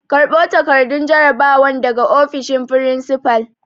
Karɓo takardun jarabawan daga ofishin furinsifal!